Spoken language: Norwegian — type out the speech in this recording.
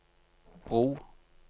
bro